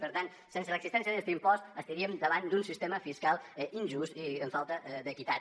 per tant sense l’existència d’este impost estaríem davant d’un sistema fiscal injust i amb falta d’equitat